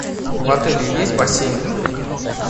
в отеле есть бассейн